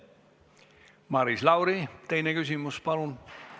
Maris Lauri, teine küsimus, palun!